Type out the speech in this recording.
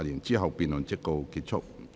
之後辯論即告結束。